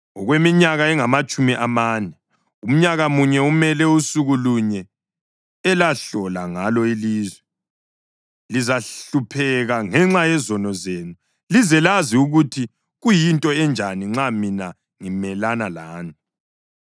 Okweminyaka engamatshumi amane, umnyaka munye umele usuku lunye elahlola ngalo ilizwe, lizahlupheka ngenxa yezono zenu lize lazi ukuthi kuyinto enjani nxa mina ngimelana lani.’